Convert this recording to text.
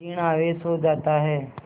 ॠण आवेश हो जाता है